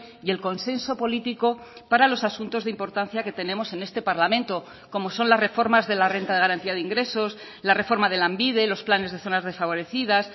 y el consenso político para los asuntos de importancia que tenemos en este parlamento como son las reformas de la renta de garantía de ingresos la reforma de lanbide los planes de zonas desfavorecidas